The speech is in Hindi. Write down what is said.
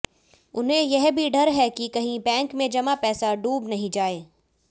उन्हें यह भी डर है कि कहीं बैंक में जमा पैसा डूब नहीं जाए